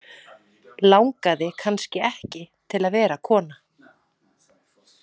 Langaði kannski ekki til að vera kona.